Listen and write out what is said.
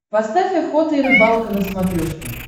поставь охота и рыбалка на смотрешке